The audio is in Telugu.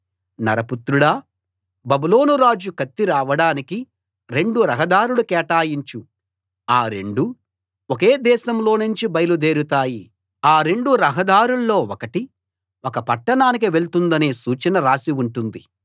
నరపుత్రుడా బబులోను రాజు కత్తి రావడానికి రెండు రహదారులు కేటాయించు ఆ రెండూ ఒకే దేశంలోనుంచి బయలుదేరుతాయి ఆ రెండు రహదారుల్లో ఒకటి ఒక పట్టణానికి వెళ్తుందన్న సూచన రాసి ఉంటుంది